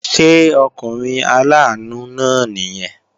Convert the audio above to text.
Ṣé ọkùnrin aláàánú náà nìyẹn?